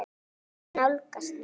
Hún nálgast mig.